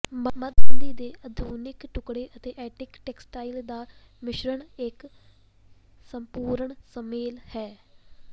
ਮੱਧ ਸਦੀ ਦੇ ਆਧੁਨਿਕ ਟੁਕੜੇ ਅਤੇ ਐਂਟੀਕ ਟੈਕਸਟਾਈਲ ਦਾ ਮਿਸ਼ਰਨ ਇੱਕ ਸੰਪੂਰਣ ਸੁਮੇਲ ਹੈ